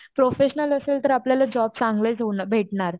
Professional असेल तर आपल्याला जॉब चांगले ऊन भेटणार.